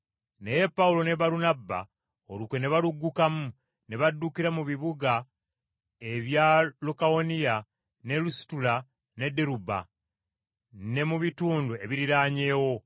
Naye Pawulo ne Balunabba olukwe ne baluggukamu ne baddukira mu bibuga ebya Lukawoniya ne Lusitula ne Derube, ne mu bitundu ebiriraanyeewo,